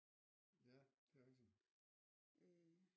Ja det er rigtigt